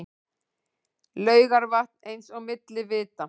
Laugarvatn eins og milli vita.